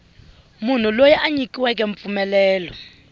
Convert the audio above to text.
munhu loyi a nyikiweke mpfumelelo